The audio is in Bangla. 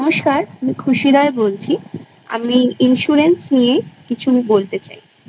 নমস্কার আমি খুশি রায় বলছি আমি insurance ? নিয়ে কিছু বলতে চাই I